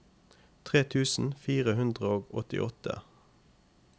tre tusen fire hundre og åttiåtte